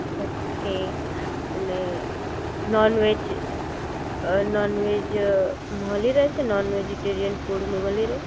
okay અને non veg uh non veg uh મળી રહેશે નોન વેજીટેરિયન ફૂડ મળી રહેશે